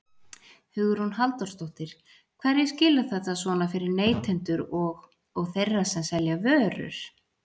Hugrún Halldórsdóttir: Hverju skilar þetta svona fyrir neytendur og, og þeirra sem selja vörur?